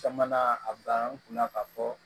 Caman na a banna n kunna ka fɔ